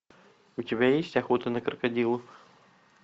у тебя есть охота на крокодилов